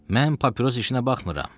Mən papiros işinə baxmıram.